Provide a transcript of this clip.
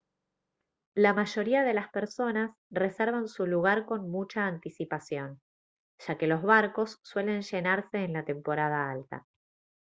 la mayoría de las personas reservan su lugar con mucha anticipación ya que los barcos suelen llenarse en la temporada alta